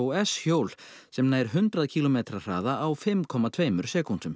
s hjól sem nær hundrað kílómetra hraða á fimm komma tveimur sekúndum